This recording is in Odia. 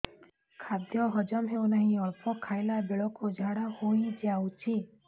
ଖାଦ୍ୟ ହଜମ ହେଉ ନାହିଁ ଅଳ୍ପ ଖାଇଲା ବେଳକୁ ଝାଡ଼ା ହୋଇଯାଉଛି